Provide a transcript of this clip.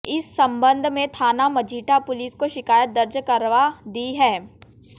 इस संबंध में थाना मजीठा पुलिस को शिकायत दर्ज करवा दी है